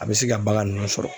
A bɛ se ka bagan ninnu sɔrɔ.